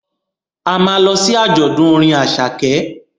A ma lọ sí àjọ̀dún orin Àṣàkẹ́